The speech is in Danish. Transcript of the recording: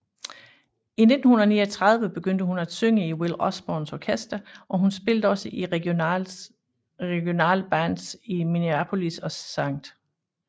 I 1939 begyndte hun at synge i Will Osborns orkester og spillede også i regionale bands i Minneapolis og St